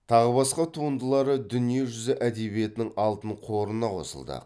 тағы басқа туындылары дүние жүзі әдебиетінің алтын қорына қосылды